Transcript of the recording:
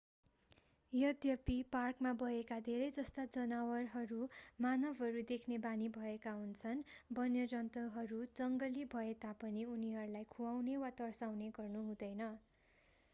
यद्यपि पार्कमा भएका धेरैजस्ता जनावरहरू मानवहरू देख्ने बानी भएका हुन्छन् वन्यजन्तुहरू जंगली भए तापनि उनीहरूलाई खुवाउने वा तर्साउने गर्नु हुँदैन